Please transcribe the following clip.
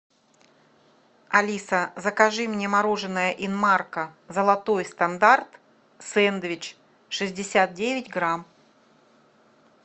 алиса закажи мне мороженное инмарко золотой стандарт сэндвич шестьдесят девять грамм